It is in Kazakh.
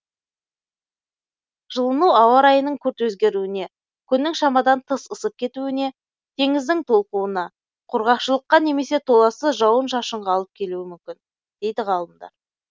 жылыну ауа райының күрт өзгеруіне күннің шамадан тыс ысып кетуіне теңіздің толқуына құрғақшылыққа немесе толассыз жауын шашынға алып келуі мүмкін дейді ғалымдар